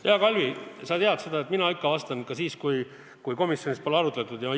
Hea Kalvi, sa tead, et mina ikka vastan, ka siis, kui komisjonis teemat ei arutatud.